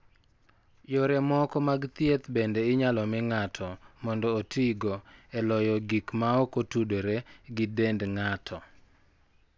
Yore moko mag thieth bende inyalo mi ng'ato mondo otigo e loyo gik maok otudore gi dend ng'ato.